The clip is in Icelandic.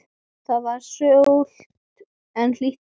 Það er súld en hlýtt í lofti.